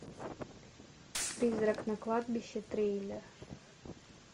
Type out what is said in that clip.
призрак на кладбище триллер